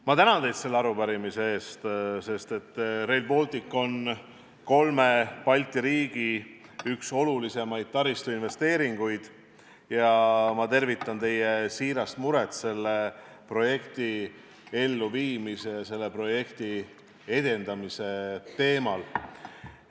Ma tänan teid selle arupärimise eest, sest Rail Baltic on kolme Balti riigi üks olulisimaid taristuinvesteeringuid, ja ma tervitan teie siirast muret selle projekti elluviimise ja edendamise pärast.